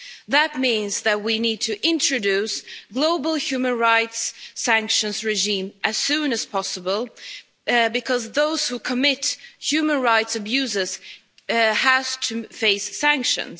That means that we need to introduce a global human rights sanctions regime as soon as possible because those who commit human rights abuses have to face sanctions.